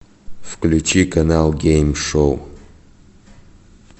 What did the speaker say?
включи канал гейм шоу